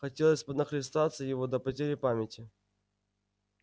хотелось нахлестаться его до потери памяти